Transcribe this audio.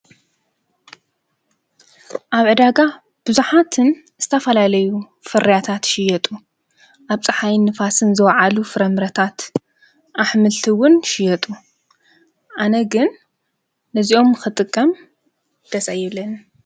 ኣብ ዕዳጋ ብዙኃትን ስተፋላለዩ ፍርያታት ሽየጡ ኣብፀሓይን ንፋስን ዘወዓሉ ፍረምረታት ኣኅምልቲውን ሽየጡ ኣነ ግን ነዚኦም ኽጥቀም ደጸየብለን።